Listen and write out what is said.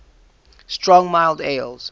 strong mild ales